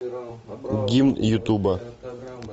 гимн ютуба